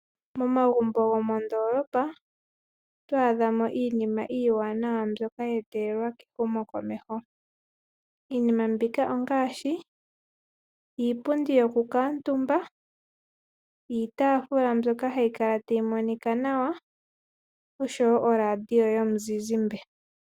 Momagumbo gomoondolopa oto adhamo iinima iiwanawa mbyoka ya etelelwa kehumokomeho. Iinima mbika ongaashi iipundi yoku kuuntumba, iitafula mbyoka hayi kala tayi monika nawa oshowo orandio yomuzizimbe.